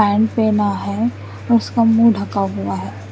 अंड पना है और उसका मु ढका हुआ है।